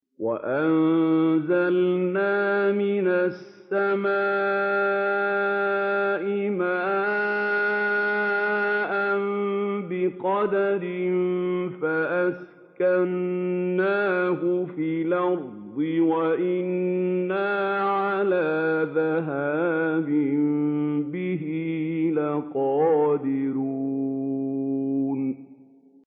وَأَنزَلْنَا مِنَ السَّمَاءِ مَاءً بِقَدَرٍ فَأَسْكَنَّاهُ فِي الْأَرْضِ ۖ وَإِنَّا عَلَىٰ ذَهَابٍ بِهِ لَقَادِرُونَ